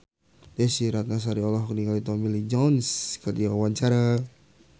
Desy Ratnasari olohok ningali Tommy Lee Jones keur diwawancara